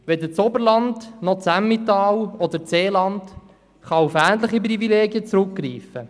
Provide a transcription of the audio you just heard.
Weder das Oberland noch das Emmental oder das Seeland können auf ähnliche Privilegien zurückgreifen.